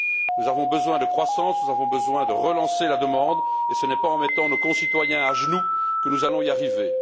Nous avons besoin de croissance, nous avons besoin de relancer la demande, et ce n'est pas en mettant nos concitoyens à genoux que nous allons y arriver.